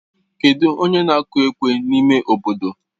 Kedụ onye na-akụ ekwe n'ime obodo?